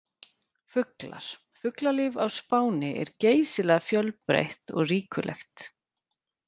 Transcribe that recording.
Fuglar: Fuglalíf á Spáni er geysilega fjölbreytt og ríkulegt.